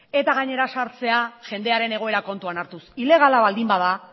eta gainera zahartzea jendearen egoera kontuan hartuz ilegala baldin bada